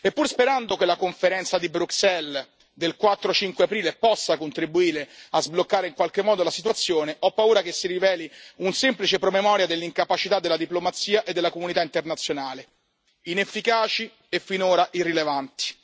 E pur sperando che la conferenza di Bruxelles del 4 e 5 aprile possa contribuire a sbloccare in qualche modo la situazione, ho paura che si riveli un semplice promemoria dell'incapacità della diplomazia e della comunità internazionale, inefficaci e finora irrilevanti.